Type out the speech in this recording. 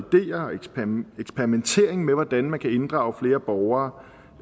eksperimenteren med hvordan man kan inddrage flere borgere